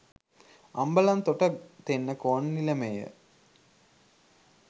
Ambalantota Tennakoon නිලමේය